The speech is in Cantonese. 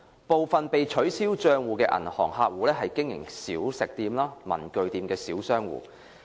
部分被取消帳戶的銀行客戶是經營小食店、文具店的小商戶。